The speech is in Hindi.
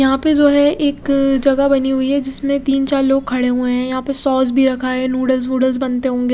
यहाँ पे जो है एक जगा बनी हुई है जिसमे तिन चार लोग खड़े हुए है यहाँ पे सोस भी रखा है नूडल्स वुडल्स बनते होंगे--